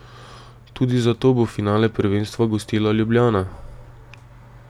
Tudi zato bo finale prvenstva gostila Ljubljana.